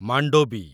Mandovi